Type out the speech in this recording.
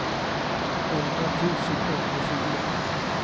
elva tusen sjuttiofyra